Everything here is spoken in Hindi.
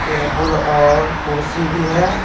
टेबल और कुर्सी भी है।